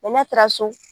n'a taara so